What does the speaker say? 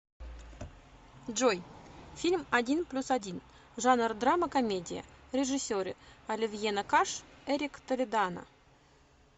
джой фильм один плюс один жанр драма комедия режисеры оливьена каш эрик толедано